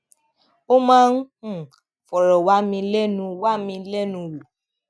ó máa ń um fọ̀rọ̀ wá mi lẹ́nu wá mi lẹ́nu wò